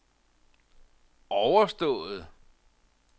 overstået